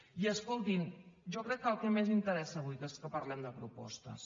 i escoltin jo crec que el que més interessa avui és que parlem de propostes